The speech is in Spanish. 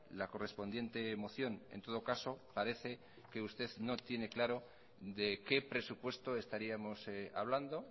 la correspondiente moción en todo caso parece que usted no tiene claro de qué presupuesto estaríamos hablando